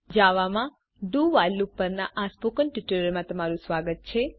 જાવામાં do while loop પરના spoken ટ્યુટોરીયલમાં તમારું સ્વાગત છે